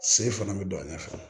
Se fana bɛ don a ɲɛfɛ